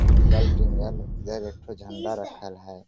इधर एकठो झण्डा रखल है।